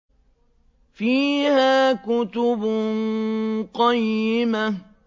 فِيهَا كُتُبٌ قَيِّمَةٌ